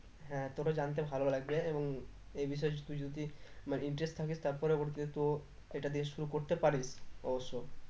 হ্যাঁ তোর ও জানতে ভালো লাগবে এবং এই বিষয়ে তুই যদি বা interest থাকিস তার পরে হচ্ছে তো এটা দিয়ে শুরু করতে পারিস অবশ্য